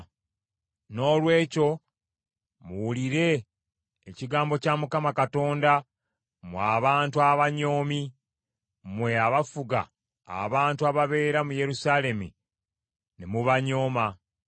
Noolwekyo muwulire ekigambo kya Mukama Katonda mmwe abantu abanyoomi, mmwe abafuga abantu ababeera mu Yerusaalemi ne mubanyooma.